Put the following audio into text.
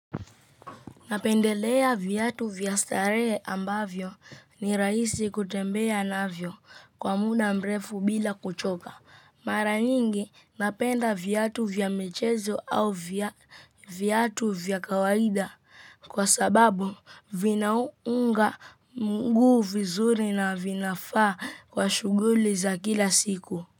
Napendelea viatu vya starehe ambavyo ni rahisi kutembea navyo kwa muda mrefu bila kuchoka. Mara nyingi napenda viatu vya michezo au viatu vya kawaida kwa sababu vinaunga mguu vizuri na vinafaa kwa shughuli za kila siku.